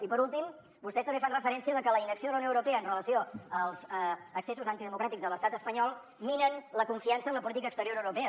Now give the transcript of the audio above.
i per últim vostès també fan referència a que la inacció de la unió europea amb relació als excessos antidemocràtics de l’estat espanyol mina la confiança en la política exterior europea